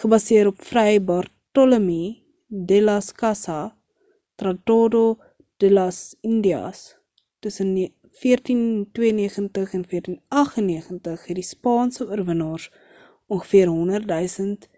gebaseer op fray bartolomé delas casa tratado de las indias tussen 1492 en 1498 het die spaanse oorwinnaars ongveer 100,000